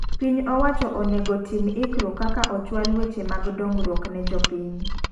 Piny owacho onego tim lkruok kaka ochwal weche mag dongruok ne jopiny.